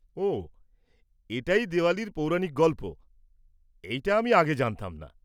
ওহ, এটাই দেওয়ালির পৌরাণিক গল্প। এইটা আমি আগে জানতাম না।